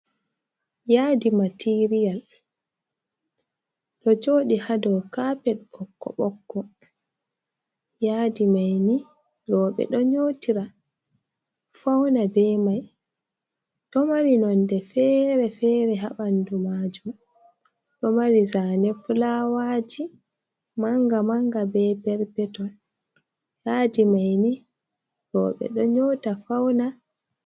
yadi materiyal do jodi hado kapel bokko bokko yaadi maini robe do nyotira fauna be mai do mari nonde fere fere habandu majum do mari zane fulawaji manga manga be perpeton yadi maini robe do nyota fauna